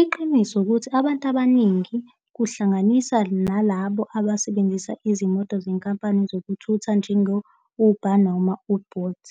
Iqiniso ukuthi abantu abaningi kuhlanganisa nalabo abasebenzisa izimoto zenkampani zokuthutha, njengo-Uber noma u-Bolt,